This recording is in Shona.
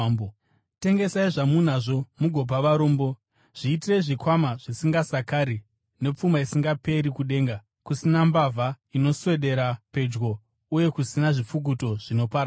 Tengesai zvamunazvo mugopa varombo. Zviitirei zvikwama zvisingasakari, nepfuma isingaperi kudenga, kusina mbavha inoswedera pedyo uye kusina zvipfukuto zvinoparadza.